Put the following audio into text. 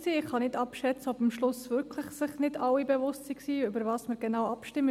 Ich kann nicht abschätzen, ob sich am Schluss wirklich nicht alle bewusst waren, worüber wir genau abstimmten.